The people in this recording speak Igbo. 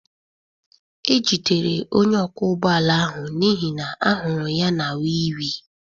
E jidere onye ọkwọ ụgbọ ala ahụ n'ihi na a hụrụ ya na wii wii